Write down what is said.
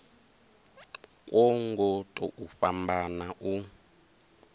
kwo ngo tou fhambana u